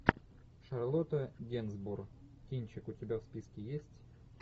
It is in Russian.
шарлотта гинзбург кинчик у тебя в списке есть